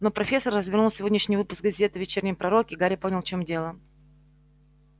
но профессор развернул сегодняшний выпуск газеты вечерний пророк и гарри понял в чём дело